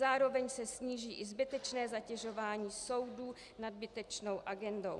Zároveň se sníží i zbytečné zatěžování soudů nadbytečnou agendou.